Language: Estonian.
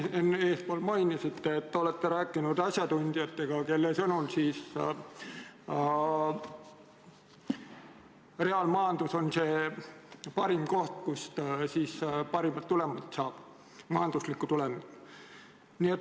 Te siin enne mainisite, et olete rääkinud asjatundjatega, kelle sõnul reaalmajandus on parim koht, kust parimat majanduslikku tulemit saab.